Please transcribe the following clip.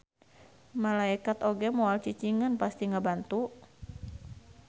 Malaekat oge moal cicingeun pasti ngabantu.